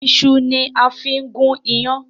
Ìṣu ni a fí gún yán.